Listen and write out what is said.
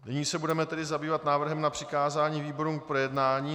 Nyní se tedy budeme zabývat návrhem na přikázání výborům k projednání.